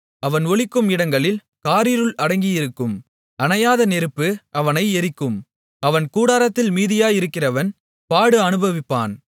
அவன் ஒளிக்கும் இடங்களில் காரிருள் அடங்கியிருக்கும் அணையாத நெருப்பு அவனை எரிக்கும் அவன் கூடாரத்தில் மீதியாயிருக்கிறவன் பாடு அநுபவிப்பான்